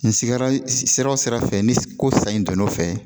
N sigiyɔrɔ sera o sira fɛ ni ko sa in don n'o fɛ